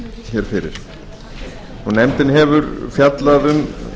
hér fyrir nefndin hefur fjallað um